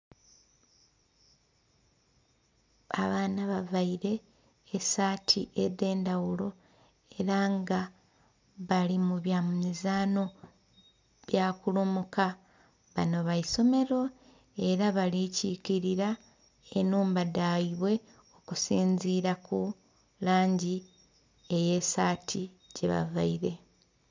Abaana bavaire esaati edhe ndhaghulo era nga bali mu bwa mizaanho gya kulumuka banho baisomero era bali kikirira enhumba dhaibwe okusinzira ku langi eye saati gye bavaire.